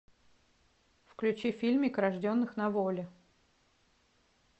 включи фильмик рожденных на воле